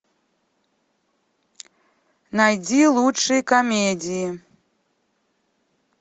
найди лучшие комедии